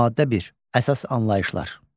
Maddə 1. Əsas anlayışlar.